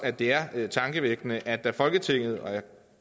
at det er tankevækkende at der i folketinget sådan